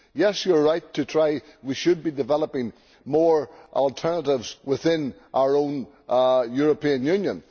Yes, it is right that we should be developing more alternatives within our own European Union.